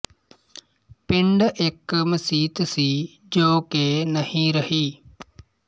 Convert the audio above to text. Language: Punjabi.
ਪਿੰਡ ਇੱਕ ਮਸੀਤ ਸੀ ਜੋ ਕਿ ਨਹੀਂ ਰਹੀ